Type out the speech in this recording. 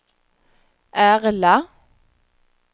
Ärla